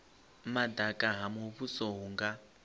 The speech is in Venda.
madaka ha muvhuso hu nga